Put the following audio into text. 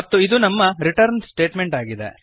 ಮತ್ತು ಇದು ನಮ್ಮ ರಿಟರ್ನ್ ಸ್ಟೇಟಮೆಂಟ್ ಆಗಿದೆ